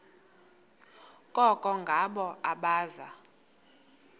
koko ngabo abaza